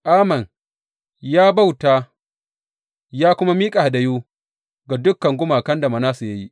Amon ya bauta ya kuma miƙa hadayu ga dukan gumakan da Manasse ya yi.